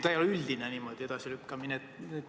See ei ole üldine edasilükkamine.